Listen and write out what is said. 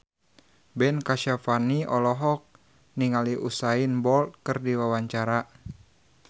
Ben Kasyafani olohok ningali Usain Bolt keur diwawancara